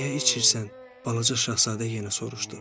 Niyə içirsən, Balaca şahzadə yenə soruşdu.